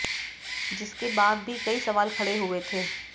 जिसके बाद भी कई सवाल खड़े हुए थे